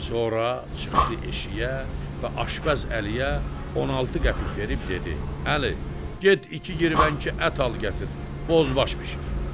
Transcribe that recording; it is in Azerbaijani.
Sonra çıxdı eşiyə və Aşpəz Əliyə 16 qəpik verib dedi: Əli, get iki qirvənki ət al gətir, bozbaş bişir.